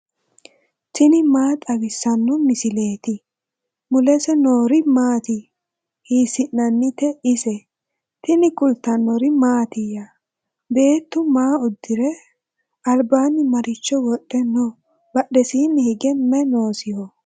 tini maa xawissanno misileeti ? mulese noori maati ? hiissinannite ise ? tini kultannori mattiya? Beettu ma udirre? alibbanni maricho wodhe noo? badheesiinni hige mayi noosiho?